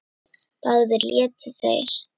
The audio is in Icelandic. Báðir létu þeir